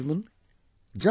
My dear countrymen,